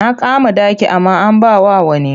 Na kama ɗaki amma an ba wa wani.